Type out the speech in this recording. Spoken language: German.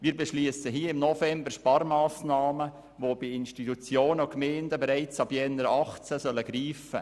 Wir beschliessen jetzt im November Sparmassnahmen, die bei Gemeinden und Institutionen bereits ab Januar 2018 greifen sollen.